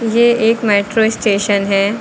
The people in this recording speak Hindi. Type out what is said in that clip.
ये एक मेट्रो स्टेशन है।